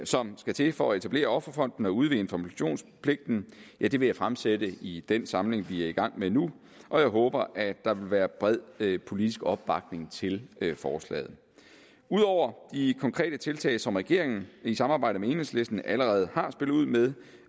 som skal til for at etablere offerfonden og udvide informationspligten vil jeg fremsætte i den samling vi er i gang med nu og jeg håber at der vil være bred politisk opbakning til forslaget ud over de konkrete tiltag som regeringen i samarbejde med enhedslisten allerede har spillet ud med